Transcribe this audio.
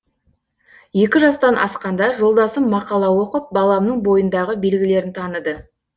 екі жастан асқанда жолдасым мақала оқып баламның бойындағы белгілерін таныды